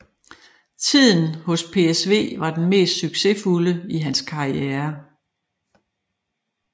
Tiden hos PSV var den mest succesfulde i hans karriere